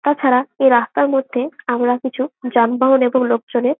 তাছাড়া এই রাস্তার মধ্যে আমরা কিছু যানবাহন এবং লোকজনের--